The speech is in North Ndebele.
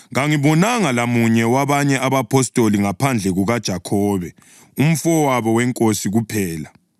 Kangibonanga lamunye wabanye abapostoli ngaphandle kukaJakhobe umfowabo weNkosi kuphela.